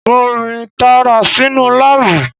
Mo rìn tààrà sínú láàbù